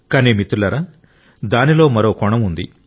కానీ మిత్రులారా దానిలో మరో కోణం ఉంది